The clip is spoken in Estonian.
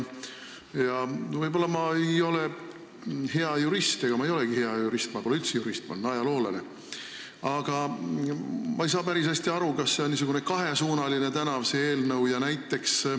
Ma ei ole võib-olla hea jurist – ega ma ei olegi hea jurist, ma pole üldse jurist, ma olen ajaloolane –, aga ma ei saa päris hästi aru, kas see eelnõu on n-ö kahesuunaline tänav.